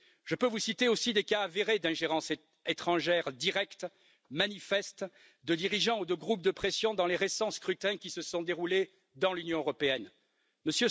Je peux citer aussi des cas avérés d'ingérence étrangère directe et manifeste de dirigeants ou de groupes de pression dans les récents scrutins qui se sont déroulés dans l'Union européenne M.